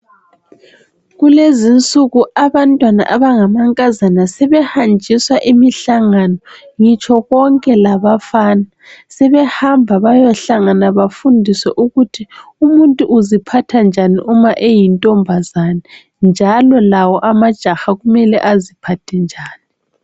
Kulezinsuku abantwana abangamankazana sebehanjiswa imihlangano ngitsho konke labafana sebehamba bayohlangana bafundiswe ukuthi umuntu uziphatha njani uma eyintombazana njalo lawo amajaha kumele aziphathe njani.